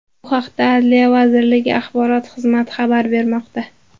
Bu haqda adliya vazirligi axborot xizmati xabar bermoqda .